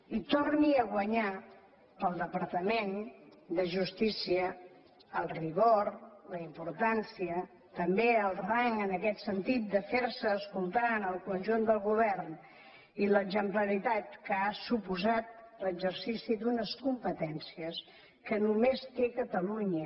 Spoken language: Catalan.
i torni a guanyar per al departament de justícia el rigor la importància també el rang en aquest sentit de fer se escoltar en el conjunt del govern i l’exemplaritat que ha suposat l’exercici d’unes competències que només té catalunya